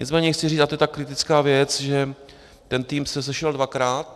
Nicméně chci říci, a to je ta kritická věc, že ten tým se sešel dvakrát.